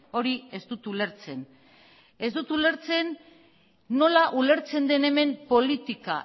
hori ez dut ulertzen ez dut ulertzen nola ulertzen den hemen politika